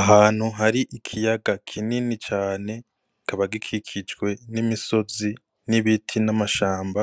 Ahantu hari ikiyaga kinini cane, kikaba gikikijwe n'imisozi n'ibiti n'amashamba,